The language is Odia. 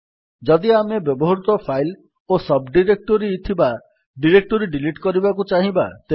ଯଦି ଆମେ ବହୁତ ଫାଇଲ୍ ଓ ସବ୍ ଡିରେକ୍ଟୋରୀ ଥିବା ଡିରେକ୍ଟୋରୀ ଡିଲିଟ୍ କରିବାକୁ ଚାହିଁବା ତେବେ